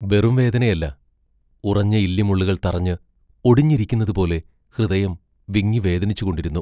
വെറും വേദനയല്ല; ഉറഞ്ഞ ഇല്ലിമുള്ളുകൾ തറഞ്ഞ് ഒടിഞ്ഞിരിക്കുന്നതുപോലെ ഹൃദയം വിങ്ങി വേദനിച്ചു കൊണ്ടിരുന്നു.